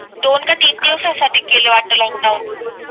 दोन का तीन दिवसासाठी केले वाटते लोकडाउन